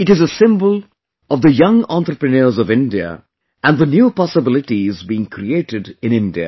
It is a symbol of the young entrepreneurs of India and the new possibilities being created in India